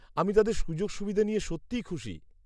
আমি তাদের সুযোগ সুবিধে নিয়ে সত্যিই খুশি।